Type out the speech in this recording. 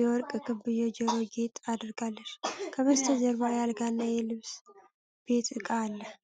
የወርቅ ክብ የጆሮ ጌጥ አድርጋለች። ከበስተጀርባ የአልጋ ልብስና የቤት እቃ አለ።